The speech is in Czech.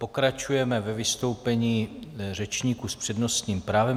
Pokračujeme ve vystoupení řečníků s přednostním právem.